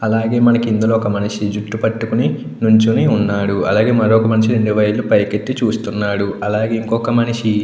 అలాగే ఇందులో ఒక మనిషి జుట్టు పట్టుకొని నిలుచొని ఉన్నాడు. అలాగే ఇంకొక మనిషి రెండు వేళ్ళు పైకి ఎత్తి చూస్తున్నాడు. అలాగే ఇంకొక మనిషి--